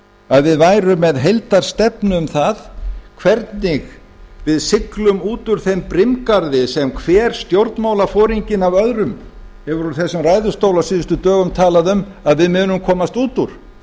að við værum með heildarstefnu um það hvernig við siglum út úr þeim brimgarði sem hver stjórnmálaforinginn á öðrum hefur úr þessum ræðustól á síðustu dögum talað um að við munum komast út úr